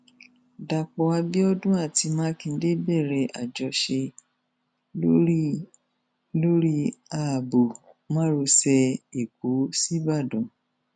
dápò abiodun àti makinde bẹrẹ àjọṣe lórí lórí ààbò márosẹ ẹkọ sìbàdàn